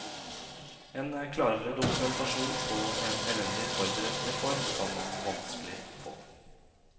En klarere dokumentasjon på en elendig forberedt reform kan man vanskelig få.